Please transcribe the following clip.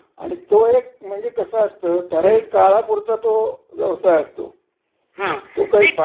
असताना मग ते त्यावेळेला ज्यांना आहे ना व्यवसाय, हं. त्यांना ते चांगला आहे. हं. पण